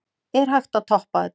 Er hægt að toppa þetta?